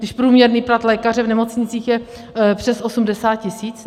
Když průměrný plat lékaře v nemocnicích je přes 80 tisíc.